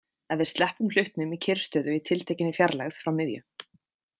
Ef við sleppum hlutnum í kyrrstöðu í tiltekinni fjarlægð frá miðju.